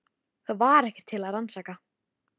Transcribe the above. Það var ekkert til að rannsaka.